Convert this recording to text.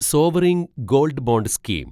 sovereign gold bond scheme